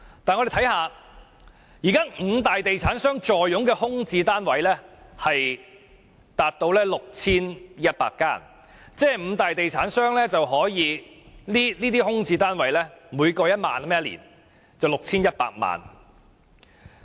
但現在五大地產商坐擁的空置單位達到 6,100 個，每個空置單位獲豁免差餉達1年1萬元，總數為 6,100 萬元。